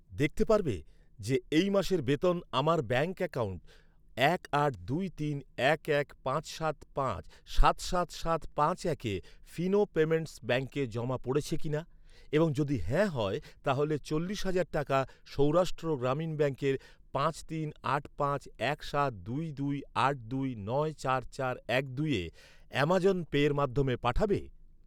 দেখতে পারবে যে এই মাসের বেতন আমার ব্যাঙ্ক অ্যাকাউন্ট এক আট দুই তিন এক এক পাঁচ সাত পাঁচ সাত সাত সাত পাঁচ একে ফিনো পেমেন্টস ব্যাঙ্কে জমা পড়েছে কিনা, এবং যদি হ্যাঁ হয়, তাহলে চল্লিশ হাজার টাকা সৌরাষ্ট্র গ্রামীণ ব্যাঙ্কের পাঁচ তিন আট পাঁচ এক সাত দুই দুই আট দুই নয় চার চার এক দুইয়ে অ্যামাজন পের মাধ্যমে পাঠাবে?